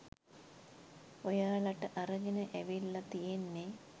ඔයාලට අරගෙන ඇවිල්ල තියෙන්නෙ